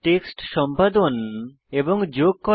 text সম্পাদন এবং যোগ করা